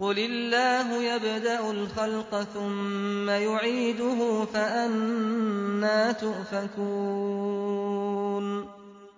قُلِ اللَّهُ يَبْدَأُ الْخَلْقَ ثُمَّ يُعِيدُهُ ۖ فَأَنَّىٰ تُؤْفَكُونَ